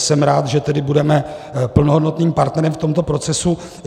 Jsem rád, že tedy budeme plnohodnotným partnerem v tomto procesu.